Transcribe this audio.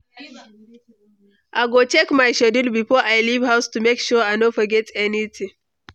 I go check my schedule before I leave house to make sure I no forget anything.